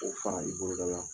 O fara i boloda la.